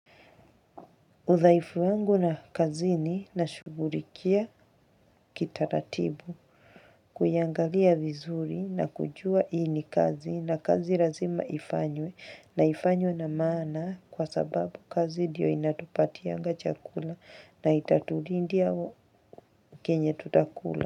Udhaifu wangu na kazini nashughulikia kitaratibu, kuyaangalia vizuri na kujua hii ni kazi, na kazi lazima ifanywe na ifanywe na maana kwa sababu kazi ndiyo inatupatianga chakula na itatulindia kenye tutakula.